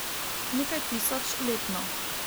Nekaj tisoč letno.